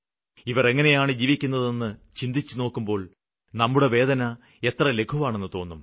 ഇവര് എങ്ങനെയാണ് ജീവിക്കുന്നതെന്ന് ചിന്തിക്കുമ്പോള് നമ്മുടെ വേദന എത്ര ലഘുവാണെന്ന് തോന്നും